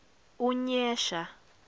unyesha